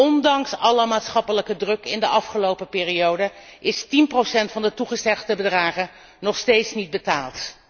Ondanks alle maatschappelijke druk in de afgelopen periode is tien procent van de toegezegde bedragen nog steeds niet betaald.